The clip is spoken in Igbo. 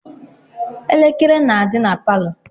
Elekere na-adị na palọ..